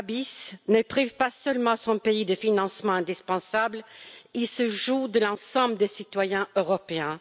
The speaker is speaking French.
Babiš ne prive pas seulement son pays de financements indispensables, il se joue de l'ensemble des citoyens européens.